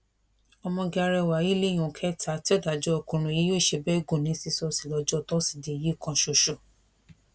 ọmọge arẹwà yìí lèèyàn kẹta tí ọdájú ọkùnrin yìí yóò ṣe bẹẹ gùn ní sísọ́ọ́sì lọjọ tọsídẹẹ yìí kan ṣoṣo